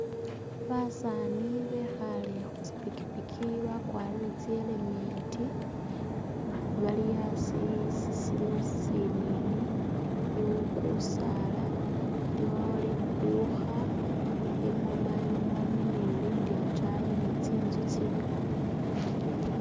Basaani bekhale khutsi’pikipiki bakwarire tsi helmet bali asi isi siliwo isinini ,iliwo kusaala ,iliwo lidukha lya mobile money ni lilindi ataayi ni tsinzu tsiliwo.